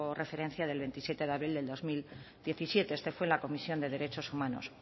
referencia del veintisiete de abril del dos mil diecisiete este fue en la comisión de derechos humanos